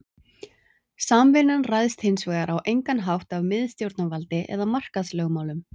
Samvinnan ræðst hins vegar á engan hátt af miðstjórnarvaldi eða markaðslögmálum.